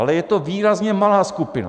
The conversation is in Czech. Ale je to výrazně malá skupina.